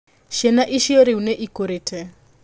Ciana icio rĩu nĩ ikũrĩte.